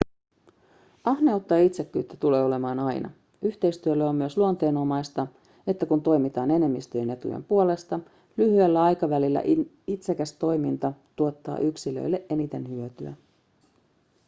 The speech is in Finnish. ahneutta ja itsekkyyttä tulee olemaan aina yhteistyölle on myös luonteenomaista että kun toimitaan enemmistön etujen puolesta lyhyellä aikavälillä itsekäs toiminta tuottaa yksilölle eniten hyötyä